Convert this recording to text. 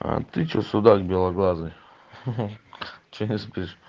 а ты что судак белоглазый что не спишь